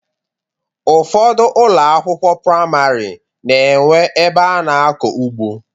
Ụfọdụ ụlọ akwụkwọ priamarị na enwe ebe ana akọ ugbo.